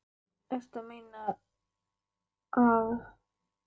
Ertu að meina. að þið eigið stefnumót núna.